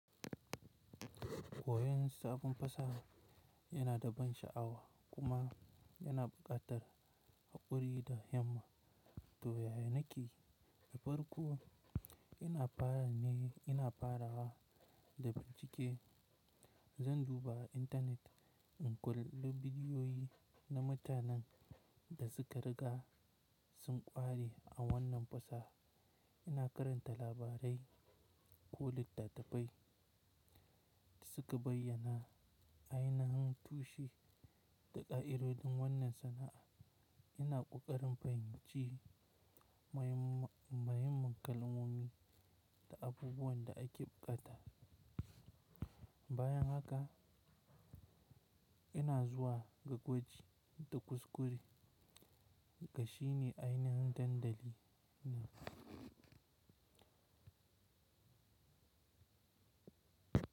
Koyon sabon fasaha yana da ban sha'awa kuma yana buƙatar haƙuri da himma. To, yaya nake yi da farko, ina fara ne ina farawa da bincike. Zan duba intanet in kalli bidiyoyi na mutanen da suka riga sun ƙware a wannan fasaha. Ina karanta labarai ko littattafai da suka bayyana ainihin tushe da ƙa'idodin wannan sana'a. Ina ƙoƙarin fahimci mahimman kalmomi da abubuwan da ake buƙata. Bayan haka ina zuwa ga gwaji da kuskure ga shi ne ainihin dandali ne.